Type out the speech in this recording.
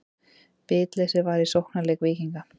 Bitleysi var í sóknarleik Víkinga.